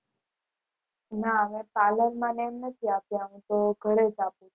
ના હવે અમે પાલર માં ને આમ નથી જતા અમે તો ઘરે જ આપીયે